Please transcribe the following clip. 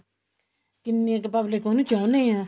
ਕਿੰਨੀ ਕ਼ public ਉਹਨੂੰ ਚਾਹੁੰਣੇ ਹੈ